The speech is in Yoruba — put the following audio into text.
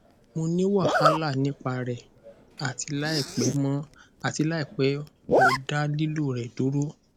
mo ni wahala nipa rẹ ati laipẹ mo ati laipẹ mo da lilo rẹ duro